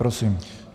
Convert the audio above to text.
Prosím.